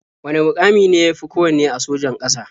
Wane muƙami ne ya fi kowanne a sojan ƙasa?